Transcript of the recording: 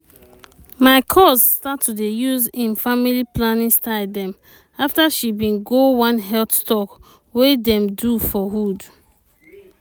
my cuz start to dey use em family planning style dem afta she bin go one health talk wey dem do for hood.